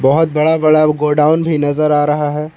बहोत बड़ा बड़ा गोडाउन भी नजर आ रहा है।